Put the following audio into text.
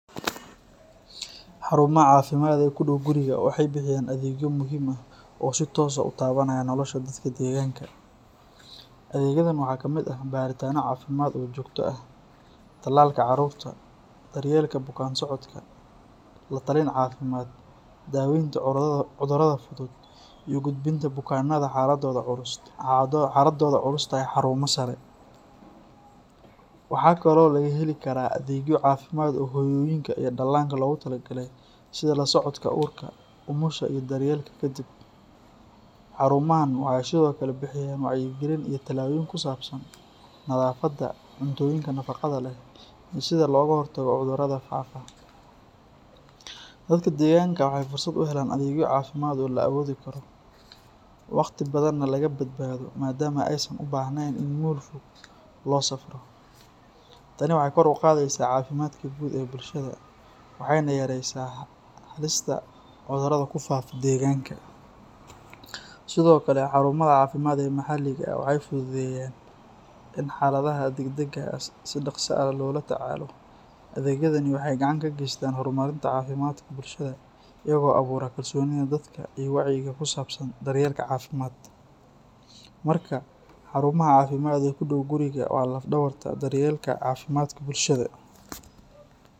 Xarumaha caafimaad ee ku dhow guriga waxay bixiyaan adeegyo muhiim ah oo si toos ah u taabanaya nolosha dadka deegaanka. Adeegyadan waxaa ka mid ah baaritaanno caafimaad oo joogto ah, tallaalka carruurta, daryeelka bukaan-socodka, la-talin caafimaad, daaweynta cudurrada fudud, iyo u gudbinta bukaanada xaaladooda culus tahay xarumo sare. Waxa kale oo laga heli karaa adeegyo caafimaad oo hooyooyinka iyo dhallaanka loogu talagalay, sida la socodka uurka, umusha iyo daryeelka ka dib. Xarumahan waxay sidoo kale bixiyaan wacyigelin iyo talooyin ku saabsan nadaafadda, cuntooyinka nafaqada leh, iyo sida looga hortago cudurrada faafa. Dadka deegaanka waxay fursad u helaan adeegyo caafimaad oo la awoodi karo, waqti badanna laga badbaado maadaama aysan u baahnayn in meel fog loo safro. Tani waxay kor u qaadaysaa caafimaadka guud ee bulshada waxayna yareysaa halista cudurro ku faafa deegaanka. Sidoo kale, xarumaha caafimaad ee maxalliga ah waxay fududeeyaan in xaaladaha degdegga ah si dhaqso ah loo tacaalo. Adeegyadani waxay gacan ka geystaan horumarinta caafimaadka bulshada iyagoo abuura kalsoonida dadka iyo wacyiga ku saabsan daryeelka caafimaad. Markaa, xarumaha caafimaad ee u dhow guriga waa laf-dhabarta daryeelka caafimaadka bulshada.